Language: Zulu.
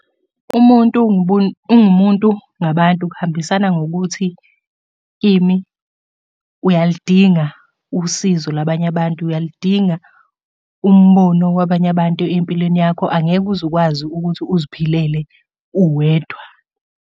Umuntu ungumuntu ngabantu, kuhambisana ngokuthi, ini, uyaludinga usizo labanye abantu, uyaludinga umbono wabanye abantu empilweni yakho. Angeke uze ukwazi ukuthi uziphelele uwedwa.